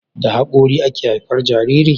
da hakori ake haifar Jariri